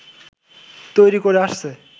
তৈরি করে আসছে